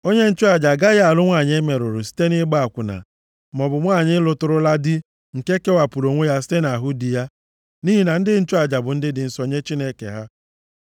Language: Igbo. “ ‘Onye nchụaja agaghị alụ nwanyị e merụrụ site nʼịgba akwụna, maọbụ nwanyị lụtụrụla di nke kewapụrụ onwe ya site nʼahụ di ya, nʼihi na ndị nchụaja bụ ndị dị nsọ nye Chineke ha.